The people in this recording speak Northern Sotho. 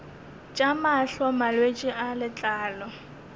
tša mahlo malwetse a letlalo